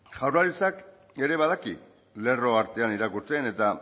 jaurlaritzak ere badaki lerro artean irakurtzen eta